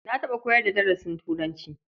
Na taɓa koyar da darasin turanci.